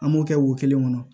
An b'o kɛ wo kelen kɔnɔ